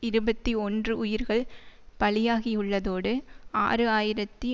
இருபத்தி ஒன்று உயிர்கள் பலியாகியுள்ளதோடு ஆறு ஆயிரத்தி